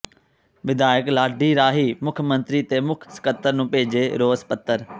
ਵਿਧਾਇਕ ਲਾਡੀ ਰਾਹੀਂ ਮੁੱਖ ਮੰਤਰੀ ਤੇ ਮੁੱਖ ਸਕੱਤਰ ਨੂੰ ਭੇਜੇ ਰੋਸ ਪੱਤਰ